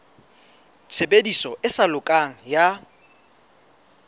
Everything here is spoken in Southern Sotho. tshebediso e sa lokang ya